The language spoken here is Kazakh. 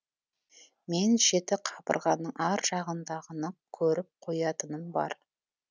мен жеті қабырғаның ар жағындағыны көріп қоятыным бар